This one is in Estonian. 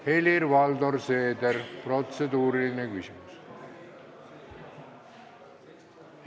Helir-Valdor Seeder, protseduuriline küsimus.